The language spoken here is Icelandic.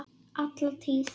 Alla tíð.